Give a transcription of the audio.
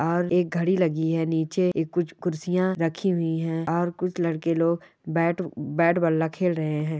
और एक घडी लगी है निचे कुछ कुर्सी रखी हुई है और कुछ लडके लोग बेट बल्ला खेल रहे है।